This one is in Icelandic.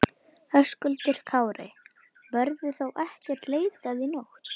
Höskuldur Kári: Verður þá ekkert leitað í nótt?